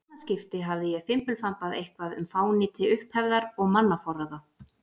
annað skipti hafði ég fimbulfambað eitthvað um fánýti upphefðar og mannaforráða.